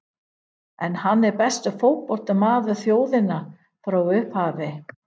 En er hann besti fótboltamaður þjóðarinnar frá upphafi?